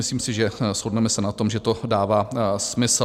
Myslím si, že se shodneme na tom, že to dává smysl.